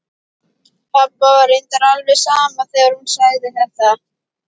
Pabba var reyndar alveg sama þegar hún sagði þetta.